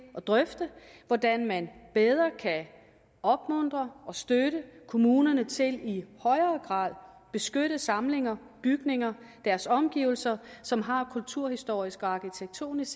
at drøfte hvordan man bedre kan opmuntre og støtte kommunerne til i højere grad at beskytte samlinger bygninger og deres omgivelser som har kulturhistorisk og arkitektonisk